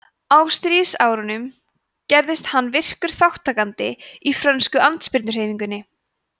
á stríðsárunum gerðist hann virkur þátttakandi í frönsku andspyrnuhreyfingunni